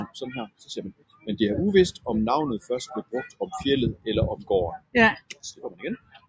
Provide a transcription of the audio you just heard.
Men det er uvist om navnet først blev brugt om fjeldet eller om gården